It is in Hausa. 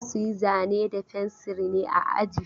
Za su yi zane da fensir ne a aji?